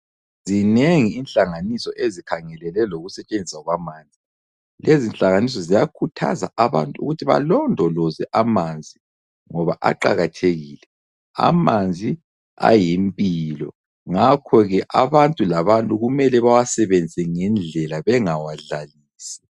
Zinengi ihlanganiso ezikhangelele lokusetshenziswa kwamanzi. Lezinhlanganiso ziyakhuthaza abantu ukuthi balondoloze amanzi ngoba aqakathekile. Amanzi ayimpilo, ngakho ke abantu labantu kumele bawasebenzise ngendlela bengawadlalisi.